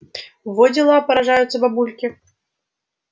во дела поражаются бабульки